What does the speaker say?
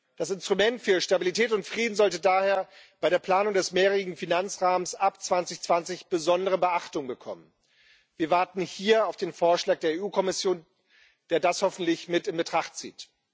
Das Instrument für Stabilität und Frieden sollte daher bei der Planung des mehrjährigen Finanzrahmens ab 2020 besondere Beachtung bekommen. Wir warten hier auf den Vorschlag der Kommission, der das hoffentlich mit in Betracht zieht.